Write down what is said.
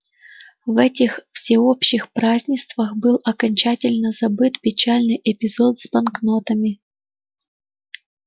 в этих всеобщих празднествах был окончательно забыт печальный эпизод с банкнотами